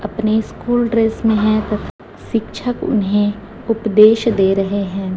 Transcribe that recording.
अपनी school dress में है तो शिक्षक इन्हें उपदेश दे रहे हैं।